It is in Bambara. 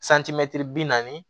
santimɛtiri bi naani